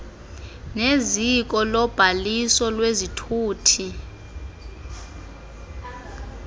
neziko lobhaliso lwezithuthi